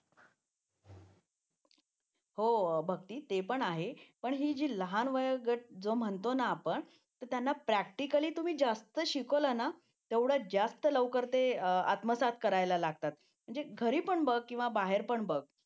हो भक्ती ते पण आहे पण ही जी लहान वयोगट जो म्हणतो ना आपण तर त्यांना प्रॅक्टिकली तुम्ही जास्त शिकवलं ना तेवढे जास्त लवकर आत्मसात करायला लागतात म्हणजे घरी पण बघ किंवा बाहेर पण बघ